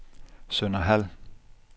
Sønderhald